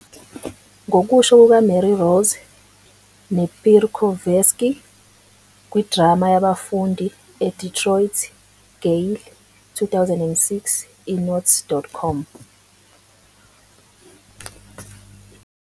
Ngokusho kukaMarie Rose Napierkowski, "kwiDrama Yabafundi", iDetroit. Gale, 2006, "eNotes.com".